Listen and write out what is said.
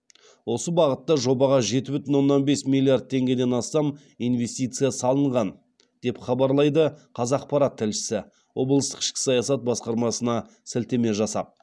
осы бағытта жобаға жеті бүтін оннан бес миллиард теңгеден астам инвестиция салынған деп хабарлайды қазақпарат тілшісі облыстық ішкі саясат басқармасына сілтеме жасап